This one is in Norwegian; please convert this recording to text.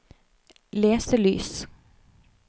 leselys